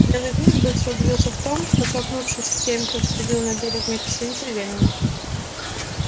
белый клык быстро убедился в том что столкнувшись с теми что сходили на берег вместе со своими хозяевами